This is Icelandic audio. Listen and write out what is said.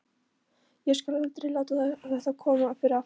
Ég skal aldrei láta þetta koma fyrir aftur.